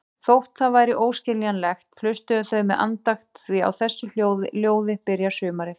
Þótt það væri óskiljanlegt, hlustuðu þau með andakt því á þessu ljóði byrjar sumarið.